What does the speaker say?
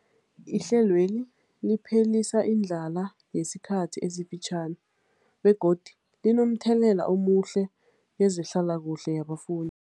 Ihlelweli liphelisa indlala yesikhathi esifitjhani begodu linomthelela omuhle kezehlalakuhle yabafun